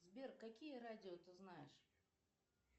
сбер какие радио ты знаешь